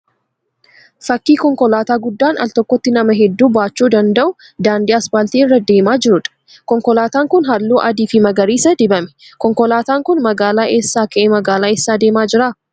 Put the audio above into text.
Fakkii konkolaataan guddaan al tokkotti nama hedduu baachuu danda'u daandii 'aspaaltii' irra deemaa jiruudha. Konkolaataan kun halluu adii fi magariisaan dibame. Konkolaataan kun magaalaa eessaa ka'ee magaalaa eessa deemaa jira?